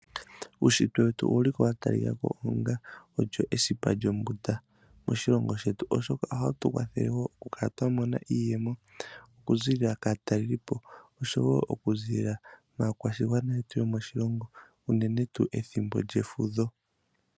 Uushitwe wetu owuli ko watalikako onga esipa lyombunda moshilongo shetu oshoka ohawu tu kwathele woo opo tukale twamona iiyemo okuziilila maakwashigwana yetu yomoshilongo uunene tuu pethimbo lyefudho.